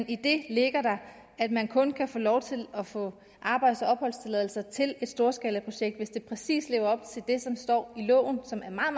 i det ligger der at man kun kan få lov til at få arbejds og opholdstilladelser til et storskalaprojekt hvis det præcis lever op til det som står i loven som er meget